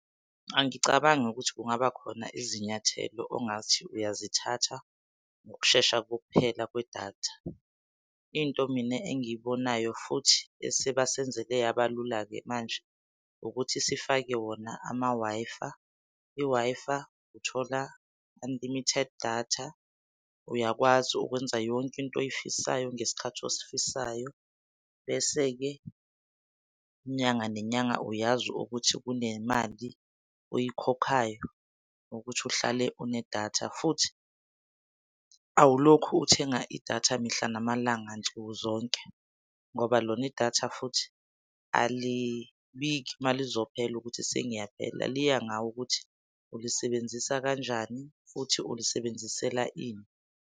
Angicabangi ukuthi kungabakhona izinyathelo ongathi uyazithatha ngokushesha kokuphela kwedatha. Into mina engiyibonayo futhi esebasenzele yabalula-ke manje ukuthi sifake wona ama-Wi-Fi. I-Wi-Fi uthola, unlimited datha, uyakwazi ukwenza yonke into oyifisayo ngesikhathi osifisayo. Bese-ke inyanga nenyanga uyazi ukuthi kunemali oyikhokhayo ukuthi uhlale unedatha. Futhi awulokhu uthenga idata mihla namalanga nsukuzonke ngoba lona idatha futhi alibiki malizophela ukuthi sengiyaphela liya ngawe ukuthi ulisebenzisa kanjani futhi ulisebenzisela ini.